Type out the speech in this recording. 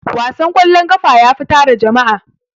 wasan kwallon ƙafa yafi tara jama'a.